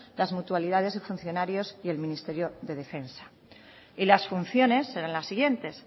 las mutualidades y funcionarios y el ministerio de defensa y las funciones serán las siguientes